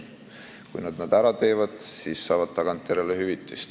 Kui nad need ära teevad, siis saavad tagantjärele hüvitist.